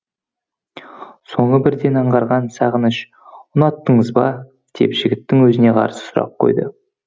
соны бірден аңғарған сағыныш ұнаттыңыз ба деп жігіттің өзіне қарсы сұрақ қойды